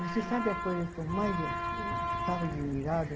Você sabe a coisa que eu mais ficava admirada?